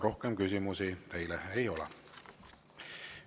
Rohkem küsimusi teile ei ole.